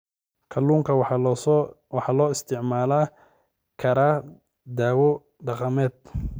Kalluunka waxaa loo isticmaali karaa dawo dhaqameed.